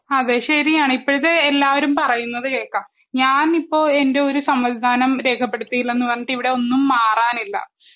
അത് ശരിയാണ് ഇപ്പോഴത്തെ എല്ലാവരും പറയുന്നത് കേക്കാം. ഞാനിപ്പോ എൻ്റെ ഒരു സമ്മതിദാനം രേഖപ്പെടുത്തിയില്ലന്ന് പറഞ്ഞിട്ട് ഇവിടെയൊന്നും മാറാനില്ല